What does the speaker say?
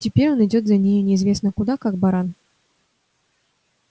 теперь он идёт за нею неизвестно куда как баран